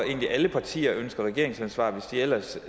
egentlig at alle partier ønsker regeringsansvar hvis ellers